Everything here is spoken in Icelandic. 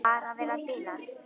Þurfti tíma til að átta sig.